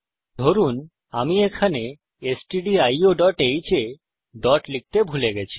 ধরুন আমি এখানে stdioহ্ এ ডট লিখতে ভুলে গেছি